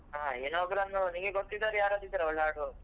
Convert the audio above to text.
ಹ ಇನ್ನೊಬ್ರನ್ನು ನಿನ್ಗೆ ಗೊತ್ತಿದ್ದವರು ಯಾರಾದ್ರೂ ಇದ್ದಾರಾ ಒಳ್ಳೆ ಆಡುವವ್ರು?